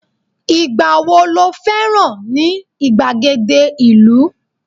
igba wo lo féràn ni igbagede ìlú